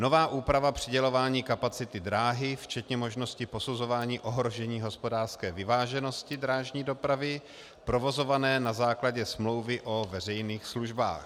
nová úprava přidělování kapacity dráhy včetně možnosti posuzování ohrožení hospodářské vyváženosti drážní dopravy provozované na základě smlouvy o veřejných službách;